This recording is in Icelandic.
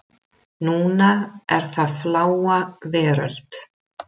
Núna er það Fláa veröld.